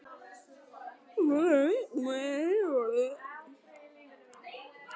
Sigurmarkið í leiknum kom í uppbótartíma.